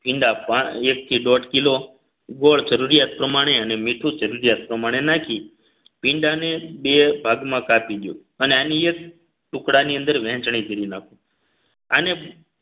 ભીંડા પા એક થી દોઢ કિલો ગોળ જરૂરિયાત પ્રમાણે અને મીઠું જરૂરિયાત પ્રમાણે નાખી ભીંડાને બે ભાગમાં કાપી અને અન્ય ટુકડા ની અંદર વહેંચણી કરી નાખો આને